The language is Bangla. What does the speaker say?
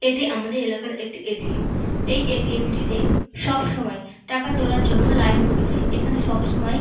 এটি আমাদের এলাকার একটি এ.টি.এম. এই এ.টি.এম. টিতে সবসময় টাকা তোলার জন্য লাইন পরে যায় এখানে সবসময়--